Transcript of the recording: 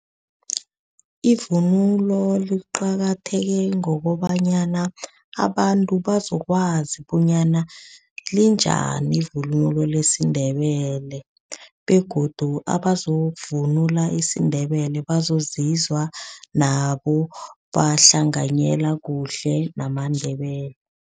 Ivunulo liqakatheke ngokobanyana, abantu bazokwazi bonyana linjani ivunulo lesiNdebele begodu abazokuvunula isiNdebele bazozizwa nabo bahlanganyela kuhle namaNdebele.